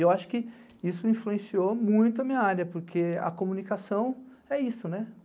Eu acho que isso influenciou muito a minha área, porque a comunicação é isso, né?